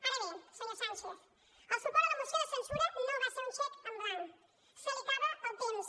ara bé senyor sánchez el suport a la moció de censura no va ser un xec en blanc se li acaba el temps